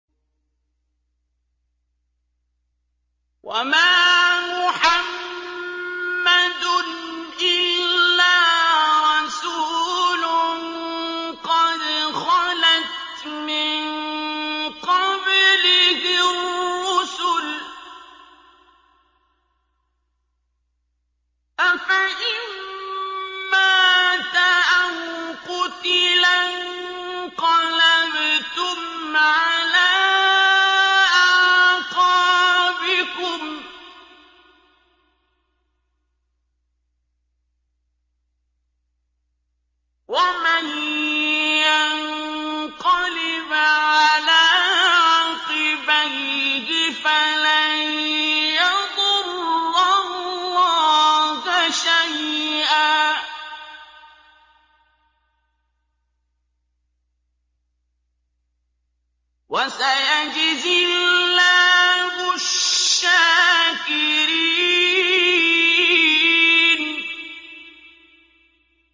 وَمَا مُحَمَّدٌ إِلَّا رَسُولٌ قَدْ خَلَتْ مِن قَبْلِهِ الرُّسُلُ ۚ أَفَإِن مَّاتَ أَوْ قُتِلَ انقَلَبْتُمْ عَلَىٰ أَعْقَابِكُمْ ۚ وَمَن يَنقَلِبْ عَلَىٰ عَقِبَيْهِ فَلَن يَضُرَّ اللَّهَ شَيْئًا ۗ وَسَيَجْزِي اللَّهُ الشَّاكِرِينَ